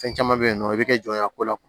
Fɛn caman bɛ yen nɔ i bɛ jɔ a ko la